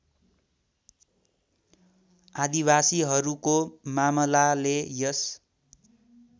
आदिवासीहरूको मामलाले यस